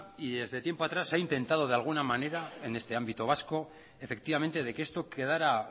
y desde tiempo atrás se ha intentado de alguna manera en este ámbito vasco efectivamente de que esto quedara